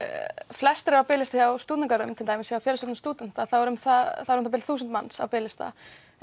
flestir eru á biðlista hjá stúdentagörðum til dæmis hjá Félagsstofnun stúdenta eru um það bil þúsund manns á biðlista